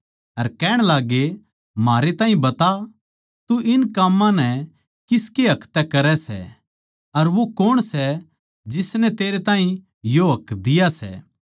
अर कहण लाग्गे म्हारै ताहीं बता तू इन काम्मां नै किसकै हक तै करै सै अर वो कौण सै जिसनै तेरै ताहीं यो हक दिया सै